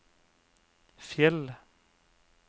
Fjell